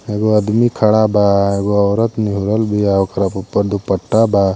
एगो आदमी खड़ा बा वो ओरत ऑकरा उपर दुपट्टा बा।